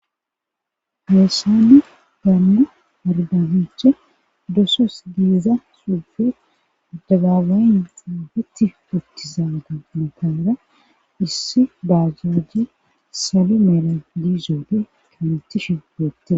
Heessani baanna ardaniche dosos geeza suufe dagaabayin aafeti uttizaaga matara issi baazajje sali meera diizoode kanetishi gootte.